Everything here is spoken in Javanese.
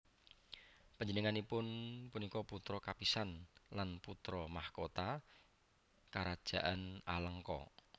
Panjenenganipun punika putra kapisan lan putra mahkota Karajan Alengka